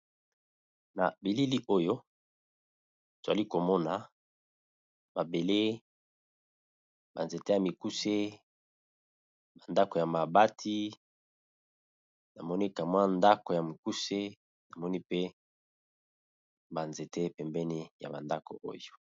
Na bilili oyo nazali komona mabele, nzete ya mikuse ndako ya mabati namoni ndako ya mukuse na ba nzete pembeni.